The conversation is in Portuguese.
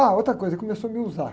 Ah, outra coisa, ele começou a me usar.